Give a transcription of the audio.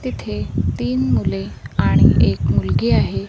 तिथे तीन मुले आणि एक मुलगी आहे.